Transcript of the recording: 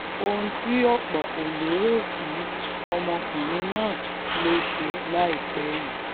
ohun tí ọ̀pọ̀ kò lérò sí ọmọkùnrin náà ló ṣe láìpẹ́ yìí